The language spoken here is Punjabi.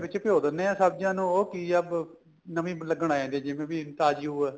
ਵਿੱਚ ਭਿਉ ਦਿਨੇ ਆ ਸਬਜੀਆਂ ਨੂੰ ਉਹ ਕੀ ਏ ਨਵੀ ਲੱਗਣ ਆ ਜਾਂਦੀ ਏ ਜਿਵੇਂ ਵੀ ਤਾਜੀ ਓ ਏ